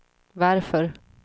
varför